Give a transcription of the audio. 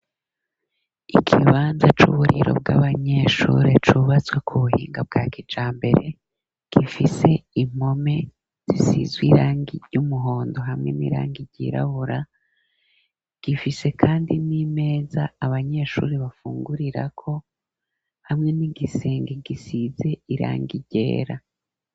Ikibanza c'uburiro bw'abanyeshuri cubatswe ku buhinga bwa kijambere, gifise impome zisizw'irangi ry'umuhondo hamwe n'irangi ryirabura, gifise kandi n'imeza abanyeshuri bafungurirako, hamwe n'igisenge gisize irangigera